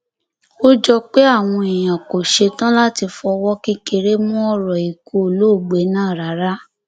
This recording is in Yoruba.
ó jọ pé àwọn èèyàn kò ṣẹtàn láti fọwọ kékeré mú ọrọ ikú olóògbé náà rárá